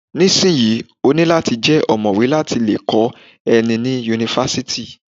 Nísìnyí, ó ní láti jẹ́ ọ̀mọ̀wé láti lè kó ẹni ní Yunifásítì.